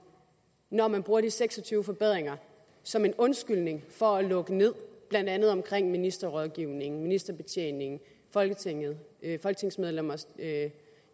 når man bruger de seks og tyve forbedringer som en undskyldning for at lukke ned blandt andet omkring ministerrådgivning ministerbetjening folketinget folketingsmedlemmers